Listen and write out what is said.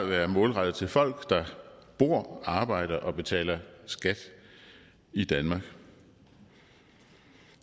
være målrettet til folk der bor arbejder og betaler skat i danmark